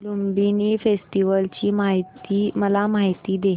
Lumbini festival ची मला माहिती दे